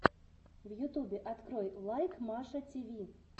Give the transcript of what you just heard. в ютубе открой лайк маша тиви